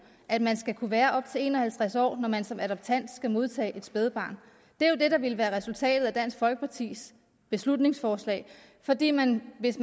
at man skal kunne være op til en og halvtreds år når man som adoptant skal modtage et spædbarn det er jo det der ville være resultatet af dansk folkepartis beslutningsforslag fordi man hvis